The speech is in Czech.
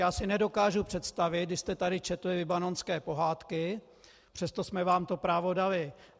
Já si nedokážu představit, když jste tady četli libanonské pohádky, přesto jsme vám to právo dali.